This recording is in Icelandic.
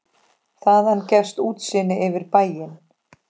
Þaðan gefst útsýni yfir bæinn.